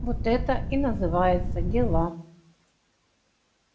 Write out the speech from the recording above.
вот это и называется дела